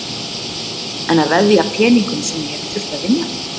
En að veðja peningum sem ég hef þurft að vinna fyrir?